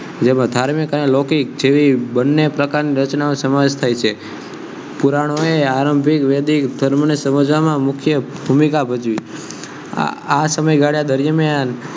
જેમા ધાર્મિક અને લૌકિક જેવી બન્ને પ્રકાર ના રચનાની સમાવેશ થાય છે પુરાનો ને આરૈભિક અને વૈદિક કમ ને સમજ્વામા મુખ્ય ભુમિકા ભજવી આ સમયગાડા દરમ્યાન